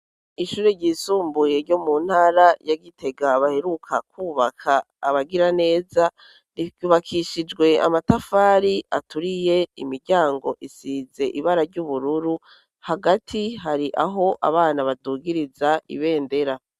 Ishuri ryisumbuye ryo mu ntara yagitegabaheruka kwubaka abagira neza ryubakishijwe amatafari aturiye imiryango isize ibara ry'ubururu hagati hari aho abana badugiriza ibendera.